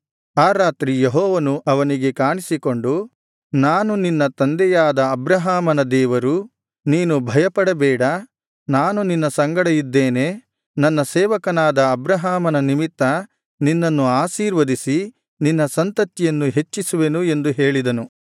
ಆ ರಾತ್ರಿ ಯೆಹೋವನು ಅವನಿಗೆ ಕಾಣಿಸಿಕೊಂಡು ನಾನು ನಿನ್ನ ತಂದೆಯಾದ ಅಬ್ರಹಾಮನ ದೇವರು ನೀನು ಭಯಪಡಬೇಡ ನಾನು ನಿನ್ನ ಸಂಗಡ ಇದ್ದೇನೆ ನನ್ನ ಸೇವಕನಾದ ಅಬ್ರಹಾಮನ ನಿಮಿತ್ತ ನಿನ್ನನ್ನು ಆಶೀರ್ವದಿಸಿ ನಿನ್ನ ಸಂತತಿಯನ್ನು ಹೆಚ್ಚಿಸುವೆನು ಎಂದು ಹೇಳಿದನು